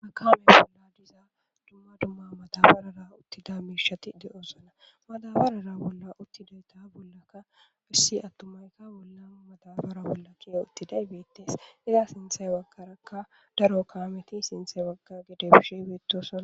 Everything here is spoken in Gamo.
makame bolla diza dumma dumma matabarara uttida miishati de7osana madabarara bolla uttidayta bollaka issi attumayka bolla matabara bolla kie uttiday beettees diza sinthey waggarakka daro kaameti sinthey wagga gede bishi beetosna